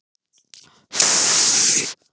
Ívan, hvað er á dagatalinu í dag?